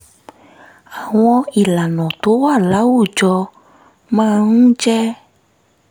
àwọn ìlànà tó wà láwùjọ máa ń jẹ́